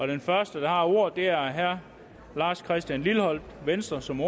den første der har ordet er herre lars christian lilleholt venstre som